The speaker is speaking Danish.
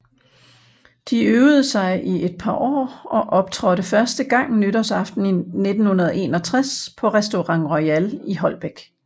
De øvede sig i et par år og optrådte første gang nytårsaften 1961 på Restaurant Royal i Holbæk